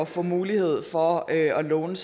få mulighed for at låne